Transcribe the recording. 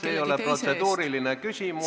See ei ole protseduuriline küsimus.